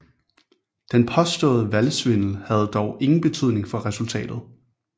Den påståede valgsvindel havde dog ingen betydning for resultatet